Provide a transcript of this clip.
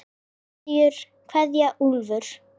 Kveðja Elfur.